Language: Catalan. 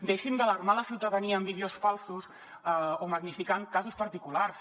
deixin d’alarmar la ciutadania amb vídeos falsos o magnificant casos particulars